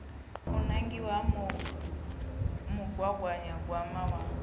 u nangiwa ha mugaganyagwama wa